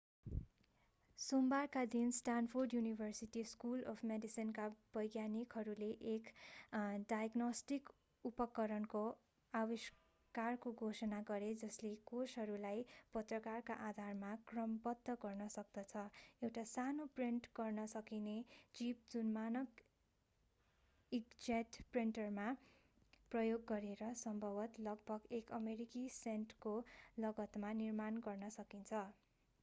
सोमबारका दिन Stanford University School of मेडिसिनका वैज्ञानिकहरूले एक नयाँ डायग्नोस्टिक उपकरणको आविष्कारको घोषणा गरे जसले कोषहरूलाई प्रकारका आधारमा क्रमबद्ध गर्न सक्दछः एउटा सानो प्रिन्ट गर्न सकिने चिप जुन मानक ईंकजेट प्रिन्टरहरू प्रयोग गरेर सम्भवतः लगभग एक अमेरिकी सेन्टको लागतमा निर्माण गर्न सकिन्छ